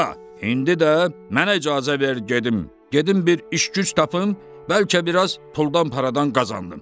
Ata, indi də mənə icazə ver gedim, gedim bir iş-güc tapım, bəlkə biraz puldan-paradan qazandım.